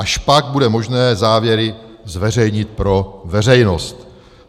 Až pak bude možné závěry zveřejnit pro veřejnost.